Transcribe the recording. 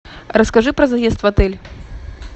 расскажи про заезд в отель